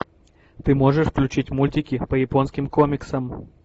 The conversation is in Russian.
ты можешь включить мультики по японским комиксам